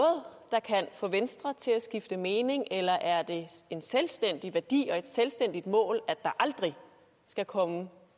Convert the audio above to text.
der kan få venstre til at skifte mening eller er det en selvstændig værdi og et selvstændigt mål at der aldrig skal komme